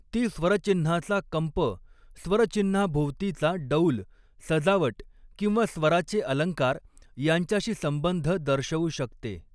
ती स्वरचिन्हाचा कंप, स्वरचिन्हाभोवतीचा डौल, सजावट किंवा स्वराचे अलंकार यांच्याशी संबंध दर्शवू शकते.